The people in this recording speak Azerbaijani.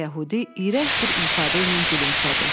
Qoca yəhudi iyrənc bir ifadə ilə gülümsədi.